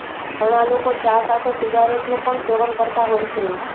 ઘણા લોકો ચા સાથે સિગારેટનું પણ સેવન કરતા હોય છે